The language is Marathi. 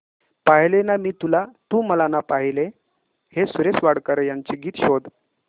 पाहिले ना मी तुला तू मला ना पाहिले हे सुरेश वाडकर यांचे गीत शोध